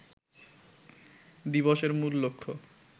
দিবসের মূল লক্ষ্য